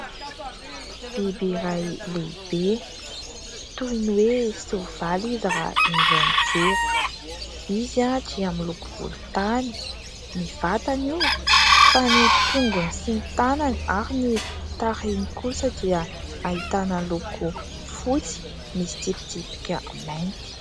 Biby iray lehibe, toy ny hoe soavaly izy raha indray mijery. Izy dia amin'ny loko volontany. Ny vatany io, fa ny tongony sy ny tanany ary ny tarehiny kosa dia ahitàna loko fotsy, misy tsipitsipika mainty.